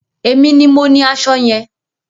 Èmi ni mo ní aṣọ yẹn.